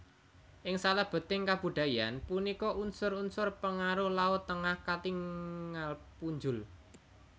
Ing salebeting kabudayan punika unsur unsur pengaruh laut Tengah katingal punjul